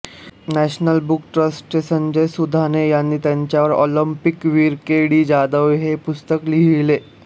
national book ट्रस्टचे संजय सुधाणे यांनी त्यांचेवर ऑलिंपिक वीर के डी जाधव हे पुस्तक लिहिले